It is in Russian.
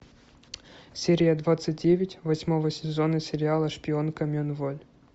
серия двадцать девять восьмого сезона сериала шпионка мен воль